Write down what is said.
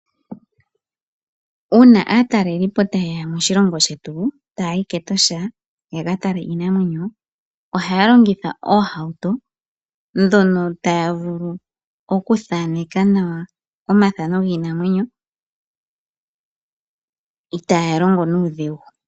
Uuna aataleliipo ta ye ya moshilongo shetu ta ya yi kEtosha ya ka tale iinamwenyo ohaya longitha oohauto dhono taya vulu okuthaaneka nawa omaithano giinamwenyo i taa ya longo nuudhigu.